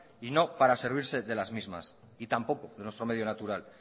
y no para servirse de las mismas y tampoco de nuestro medio natural